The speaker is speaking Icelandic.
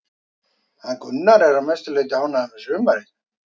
Gunnar er að mestu leiti ánægður með sumarið.